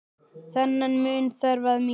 Þennan mun þarf að minnka.